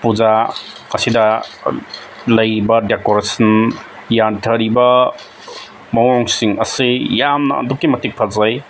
ꯑꯁꯤꯗ ꯂꯩꯔꯤꯕ ꯗꯦꯀꯣꯔꯦꯁꯟ ꯌꯟꯊꯔꯤꯕ ꯃꯑꯣꯡꯁꯤꯡ ꯑꯁꯤ ꯌꯝꯅ ꯑꯗꯨꯛꯀꯤ ꯃꯇꯤꯛ ꯐꯖꯩ꯫